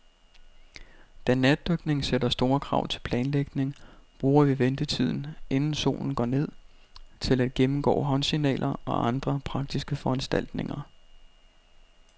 Da natdykning sætter store krav til planlægning, bruger vi ventetiden, inden solen går ned, til at gennemgå håndsignaler og andre praktiske foranstaltninger.